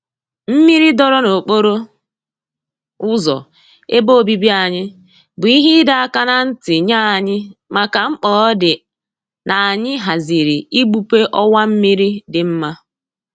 Mmiri dọọrọ n'okporo ụzọ ebe obibi anyị bụ ihe ịdọ aka na ntị nye anyị maka mkpa ọ dị n'anyị haziri igbupe ọwa mmiri dị nma